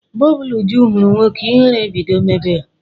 Mgbe ọbụla Uju hụrụ nwoke, ihere ebido mebe ya.